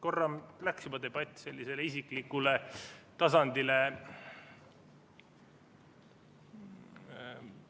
Korra juba läks debatt sellisele isiklikule tasandile.